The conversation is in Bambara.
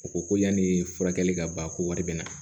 U ko ko yani furakɛli ka ban ko wari bɛ na